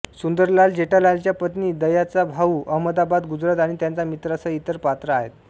सुंदरलाल जेठालालच्या पत्नी दयाचा भाऊ अहमदाबाद गुजरात आणि त्याच्या मित्रांसह इतर पात्र आहेत